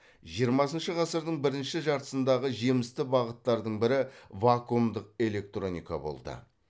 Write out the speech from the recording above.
жиырмасыншы ғасырдың бірінші жартысындағы жемісті бағыттардың бірі вакуумдық электроника болды